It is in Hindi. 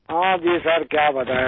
हाँ जी सिर क्या बताये अब